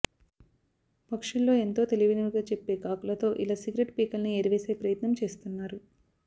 పక్షుల్లో ఎంతో తెలివైనవిగా చెప్పే కాకులతో ఇలా సిగరెట్ పీకల్ని ఏరివేసే ప్రయత్నం చేస్తున్నారు